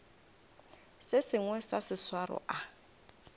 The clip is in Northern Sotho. se sengwe sa seswaro a